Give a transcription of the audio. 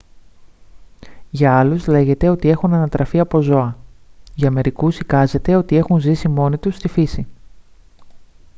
για άλλους λέγεται ότι έχουν ανατραφεί από ζώα· για μερικούς εικάζεται ότι έχουν ζήσει μόνοι τους στη φύση